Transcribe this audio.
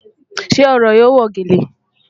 Ṣe ọ̀rọ̀ yóò wọ́ gẹ́lẹ́?